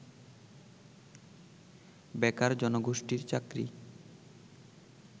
বেকার জনগোষ্ঠীর চাকরি